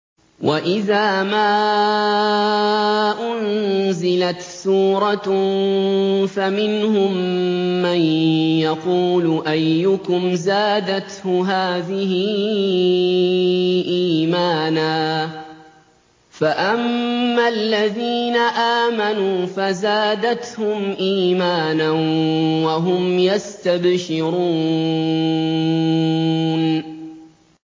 وَإِذَا مَا أُنزِلَتْ سُورَةٌ فَمِنْهُم مَّن يَقُولُ أَيُّكُمْ زَادَتْهُ هَٰذِهِ إِيمَانًا ۚ فَأَمَّا الَّذِينَ آمَنُوا فَزَادَتْهُمْ إِيمَانًا وَهُمْ يَسْتَبْشِرُونَ